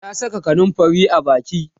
ta Saka kanumfari a Baki